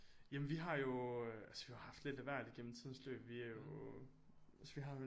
Jamen vi har jo altså vi har jo haft lidt af hvert igennem tidens løb vi er jo altså vi har jo